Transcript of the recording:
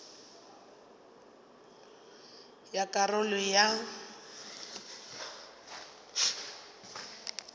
ya ka karolo ya bo